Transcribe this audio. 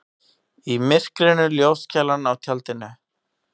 Í myrkrinu ljóskeilan á tjaldinu.